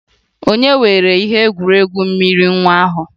Ònye weere ihe egwuregwu mmiri nwa ahụ?